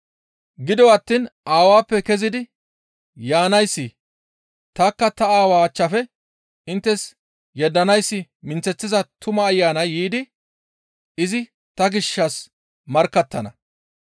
«Gido attiin Aawappe kezidi yaanayssi, tanikka ta Aawa achchafe inttes yeddanayssi minththeththiza Tuma Ayanay yiidi izi ta gishshas markkattana.